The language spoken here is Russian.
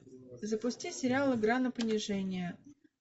запусти сериал игра на понижение